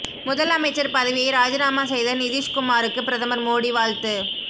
முதல்அமைச்சர் பதவியை ராஜினாமா செய்த நிதிஷ் குமாருக்கு பிரதமர் மோடி வாழ்த்து